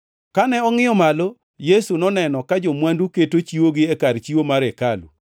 Kane ongʼiyo malo, Yesu noneno ka jo-mwandu keto chiwogi e kar chiwo mar hekalu.